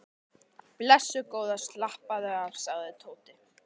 Blessuð góða slappaðu af sagði Tóti.